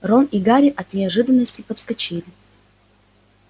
рон и гарри от неожиданности подскочили